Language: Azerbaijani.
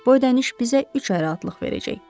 Bu ödəniş bizə üç ay rahatlıq verəcək.